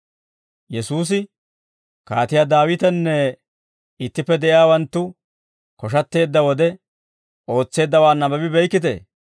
Yesuusi, «Kaatiyaa Daawitenne ittippe de'iyaawanttu koshatteedda wode ootseeddawaa nabbabi beykkitee?